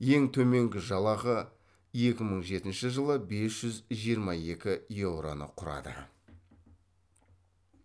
ең төменгі жалақы екі мың жетінші жылы бес жүз жиырма екі еуроны құрады